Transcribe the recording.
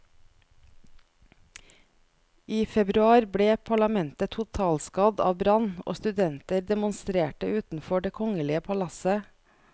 I februar ble parlamentet totalskadd av brann, og studenter demonstrerte utenfor det kongelige palasset.